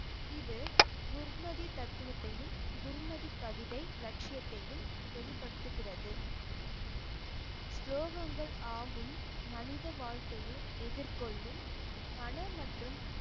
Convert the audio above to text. இது குர்மதி தத்துவத்தையும் குர்மதி கவிதை லட்சியத்தையும் வெளிப்படுத்துகிறது ஸ்லோகங்கள் ஆகும் மனித வாழ்க்கையில் எதிர்கொள்ளும் மனம் மற்றும்